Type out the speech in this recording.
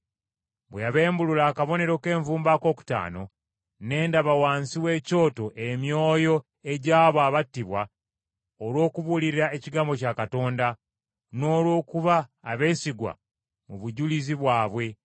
Bwe yabembulula akabonero k’envumbo akookutaano ne ndaba wansi w’ekyoto emyoyo egy’abo abattibwa olw’okubuulira ekigambo kya Katonda n’olw’okuba abeesigwa mu bujulizi bwabwe.